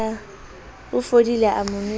o fodile a mo nwesa